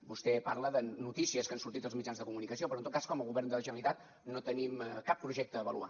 vostè parla de notícies que han sortit als mitjans de comunicació però en tot cas com a govern de la generalitat no tenim cap projecte a avaluar